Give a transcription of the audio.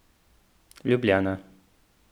Ljubljana.